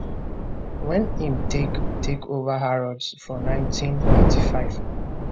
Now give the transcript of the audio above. wen im take take over harrods for 1985